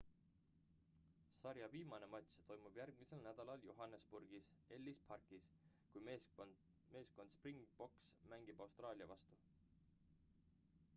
sarja viimane matš toimub järgmisel nädalal johannesburgis ellis parkis kui meeskond springboks mängib austraalia vastu